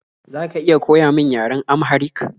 Za ka iya koya min yaren Amharik?